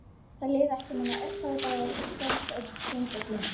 Það liðu ekki nema örfáir dagar og kvöld eitt hringdi síminn.